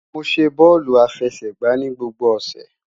Mo ṣe bọọlu afẹsẹgba ni gbogbo ọsẹ